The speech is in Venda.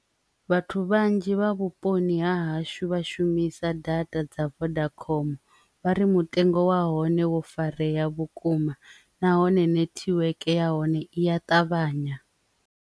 Vhathu vhanzhi vha vhuponi ha hashu vha shumisa data dza vodacom vhakoma vha ri mutengo wa hone wo farea vhukuma nahone netiweke ya hone iya ṱavhanya.